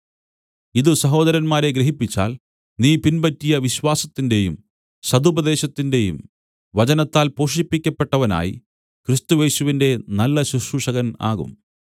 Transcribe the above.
ഇതു സഹോദരന്മാരെ ഗ്രഹിപ്പിച്ചാൽ നീ പിൻപറ്റിയ വിശ്വാസത്തിന്റെയും സദുപദേശത്തിന്റെയും വചനത്താൽ പോഷിപ്പിക്കപ്പെട്ടവനായി ക്രിസ്തുയേശുവിന്റെ നല്ല ശുശ്രൂഷകൻ ആകും